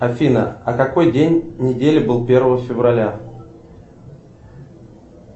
афина а какой день недели был первого февраля